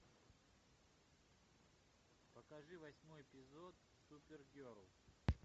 покажи восьмой эпизод супергерл